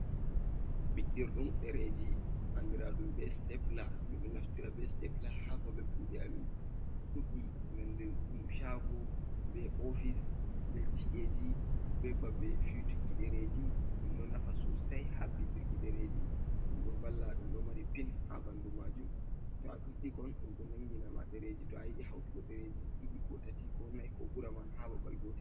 Ɓiɗɗird ɗum ɗereji andira ɗum be stepla, min ɗo naftira be stepla ha baɓɓe kuɗe amin, ɗubbi nandir ɗum shago be ofis, be chi’eji, be baɓɓe fiutuki dereji, ɗum ɗo nafa sosai ha ɓiɗɗuki dereji, ɗum ɗo valla, ɗum ɗo mari pin ha ɓanɗu majum, to a ɓiɗɗi kon ɗum ɗo nanginama ɗereji to a yiɗi hautugo ɗereji ɗiɗi, ko tati, ko nai, ko ɓura man ha babal goti.